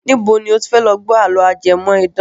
Níbo lo ti fẹ́ lọ gbọ́ àló ajẹmọ́ idán?